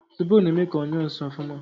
Zobo na eme ka onyuo nsi ofuma